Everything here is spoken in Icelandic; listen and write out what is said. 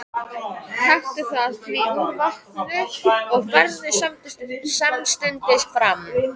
Taktu það því úr vatninu og berðu samstundis fram.